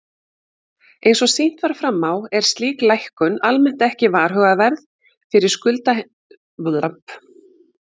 Eins og sýnt var fram á er slík lækkun almennt ekki varhugaverð fyrir skuldheimtumenn félagsins.